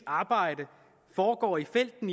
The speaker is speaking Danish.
arbejde foregår i felten